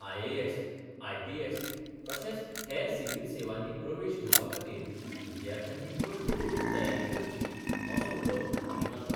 IAS, IPS तशेंच हेर civil सेवांनी प्रवेश घेवपा खातीर विद्यार्थ्यांनी कश्ट करून तयारी करची असो उलो तांणी मारलो.